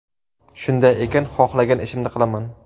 Shunday ekan, xohlagan ishimni qilaman.